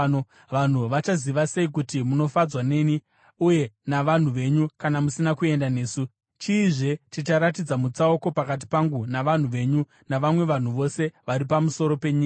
Vanhu vachaziva sei kuti munofadzwa neni uye navanhu venyu kana musina kuenda nesu? Chiizve chicharatidza mutsauko pakati pangu navanhu venyu navamwe vanhu vose vari pamusoro penyika?”